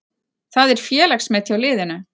Það er félagsmet hjá liðinu.